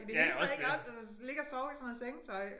I det hele taget ik også og så ligge og sove i sådan noget sengetøj